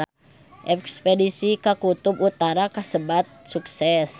Espedisi ka Kutub Utara kasebat sukses